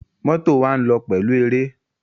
Mọ́tò wa ń lọ pẹ̀lú eré.